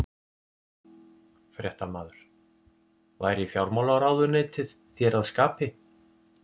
Fréttamaður: Væri fjármálaráðuneytið þér að skapi?